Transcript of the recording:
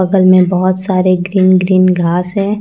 बगल में बहुत सारे ग्रीन ग्रीन घास है।